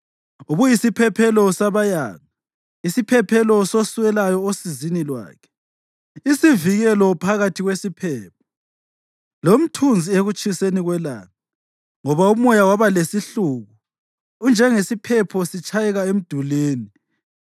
Ubuyisiphephelo sabayanga, isiphephelo soswelayo osizini lwakhe, isivikelo phakathi kwesiphepho lomthunzi ekutshiseni kwelanga. Ngoba umoya wabalesihluku unjengesiphepho sitshayeka emdulini,